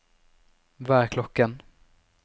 hva er klokken